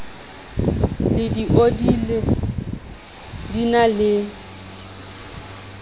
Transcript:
le dioli di na le